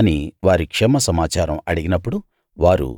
అని వారి క్షేమ సమాచారం అడిగినప్పుడు వారు